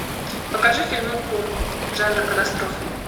покажи фильмуху жанра катастрофа